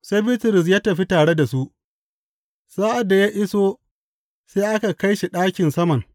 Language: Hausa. Sai Bitrus ya tafi tare da su, sa’ad da ya iso sai aka kai shi ɗakin saman.